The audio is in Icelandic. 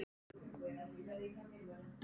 Hann er vinur Sigga bróður.